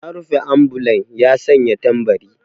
Ya rufe ambulan ya sanya tambari.